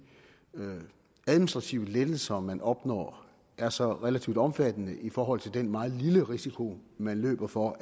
administrative lettelser man opnår er så relativt omfattende i forhold til den meget lille risiko man løber for